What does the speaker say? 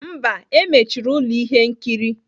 Mba, emechiri ụlọ ihe nkiri